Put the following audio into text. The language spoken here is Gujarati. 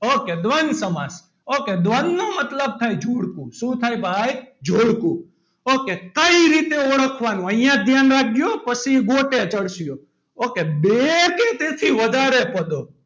Ok દ્વંદ સમાસ ok દ્રંદ નો મતલબ થાય જોડકું શું થાય ભાઈ જોડકું. ok કઈ રીતે ઓળખવાનું અહીંયા જ ધ્યાન રાખજો પછી ગોતે ચડશો ok બે કે તેથી વધારે પદો,